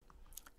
DR P2